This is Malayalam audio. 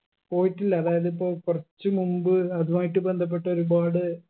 പോയിട്ടില്ല അതായത് ഇപ്പൊൾ കുറച്ച് മുമ്പ് അതുമായിട്ട് ബന്ധപ്പെട്ട ഒരുപാട്